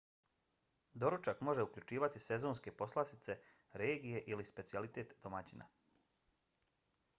doručak može uključivati sezonske poslastice regije ili specijalitet domaćina